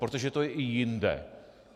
Protože to je i jinde.